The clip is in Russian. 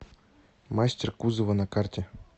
мастер кузова на карте